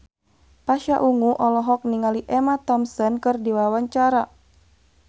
Pasha Ungu olohok ningali Emma Thompson keur diwawancara